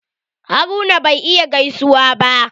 Haruna bai iya gaisuwa ba.